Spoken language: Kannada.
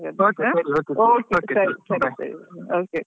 Okay ಸರಿ ಸರಿ okay.